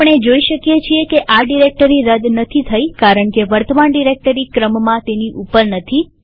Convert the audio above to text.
આપણે જોઈ શકીએ છીએ કે આ ડિરેક્ટરી રદ નથી થઇ કારણકે વર્તમાન ડિરેક્ટરી ક્રમમાં તેની ઉપર નથી